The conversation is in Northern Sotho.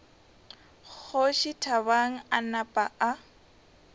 kgoši thabang a napa a